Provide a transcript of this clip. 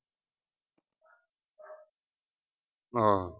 ਆਹ